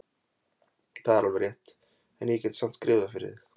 Það er alveg rétt, en ég get samt skrifað fyrir þig.